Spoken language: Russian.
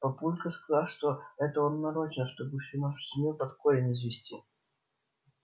папулька сказал что это он нарочно чтобы всю нашу семью под корень извести